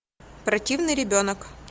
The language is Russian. противный ребенок